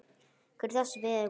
Hver er þessi vegur?